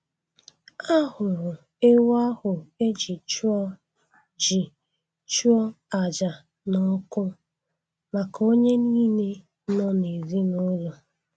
A hụrụ ewu ahụ e ji chụọ ji chụọ àjà n'ọkụ maka onye niile nọ n'ezinụlọ.